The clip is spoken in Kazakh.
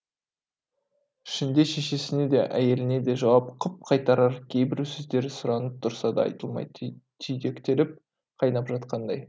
ішінде шешесіне де әйеліне де жауап қып қайтарар кейбір сөздері сұранып тұрса да айтылмай түйдектеліп қайнап жатқандай